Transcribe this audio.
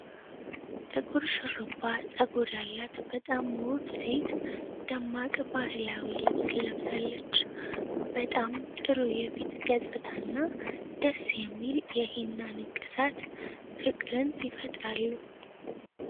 ጥቁር ሹርባ ጸጉር ያላት በጣም ውብ ሴት ደማቅ ባህላዊ ልብስ ለብሳለች። በጣም ጥሩ የፊት ገጽታና ደስ የሚል የሂና ንቅሳት ፍቅርን ይፈጥራሉ።